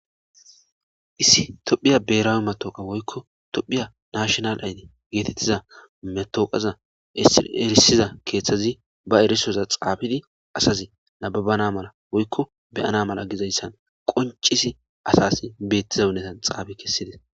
issi tophiya berawe matooqa woykko tophiya nashinal ayde geetettiza metooqaza isi erisiza keeththazi ba erisoza xaapidi asazi nababana mala woykko be7ana mala gizayssa qoncisi asas beettiza unnetan xaafi kessides